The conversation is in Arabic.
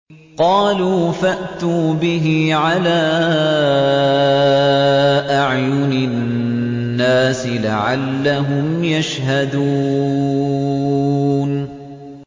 قَالُوا فَأْتُوا بِهِ عَلَىٰ أَعْيُنِ النَّاسِ لَعَلَّهُمْ يَشْهَدُونَ